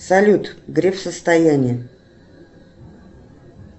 салют греф состояние